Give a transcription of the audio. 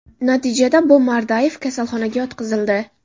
Natijada B.Mardayev kasalxonaga yotqizildi.